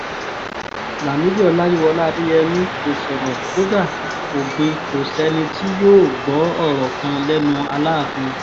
lámìdí ọláyíwọlá adéyẹmi kò sọ̀rọ̀ kódà kó gbìn kò sẹ́ni tí yóò gbọ́ ọ̀rọ̀ kan lẹ́nu aláàfin